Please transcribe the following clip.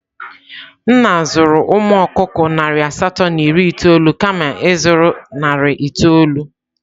Nna zụrụ umu okukọ nari asatọ na iri itoolu kama ịzụrụ narị itoolu?